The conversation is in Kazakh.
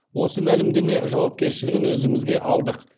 осы мәлімдеме жауапкершілігін өзімізге алдық